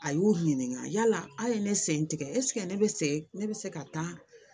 A y'u ɲininka yala a ye ne sen tigɛ ne bɛ se ne bɛ se ka taa